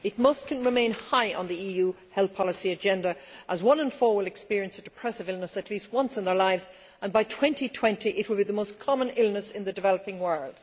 It must remain high on the EU health policy agenda, as one in four people will experience a depressive illness at least once in their lives, and by 2020 it will be the most common illness in the developing world.